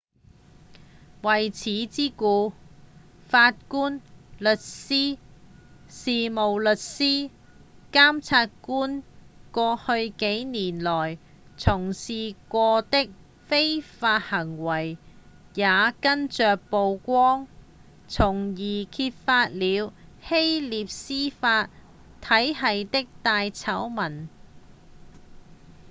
為此之故法官、律師、事務律師及檢察官過去幾年來從事過的非法行為也跟著曝光從而揭發了希臘司法體系的大醜聞